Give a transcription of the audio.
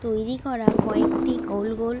তৈরী করা কয়েকটি গোল গোল--